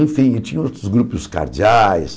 Enfim, tinha outros grupos cardeais.